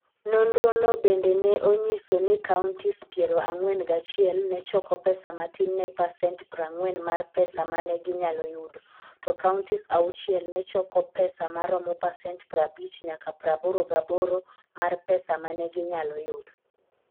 Nonrono bende ne onyiso ni counties piero ang'wen gachiel ne choko pesa matin ne pasent 40 mar pesa ma ne ginyalo yudo, to counties auchiel ne choko pesa ma romo pasent 50 nyaka 88 mar pesa ma ne ginyalo yudo.